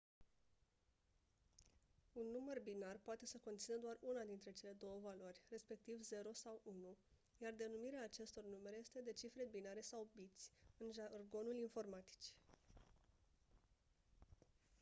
un număr binar poate să conțină doar una dintre cele două valori respectiv 0 sau 1 iar denumirea acestor numere este de cifre binare sau biți în jargonul informaticii